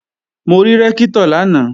Mo rí Rẹ́ktọ̀ lánàá